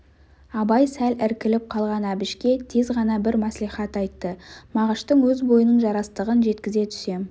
абай сәл іркіліп қалған әбішке тез ғана бір мәслихат айтты мағыштың өз бойының жарастығын жеткізе түсем